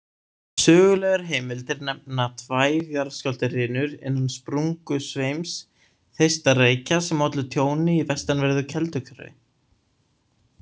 Sögulegar heimildir nefna tvær jarðskjálftahrinur innan sprungusveims Þeistareykja sem ollu tjóni í vestanverðu Kelduhverfi.